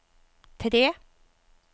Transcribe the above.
tre